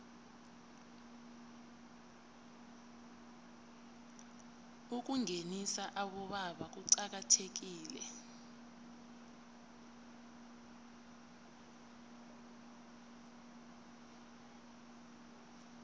ukungenisa abobaba kuqakathekile